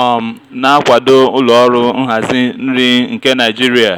um na-akwado ụlọ ọrụ nhazi nri nke naijiria.